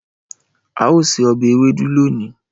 Ao se obe ewedu loni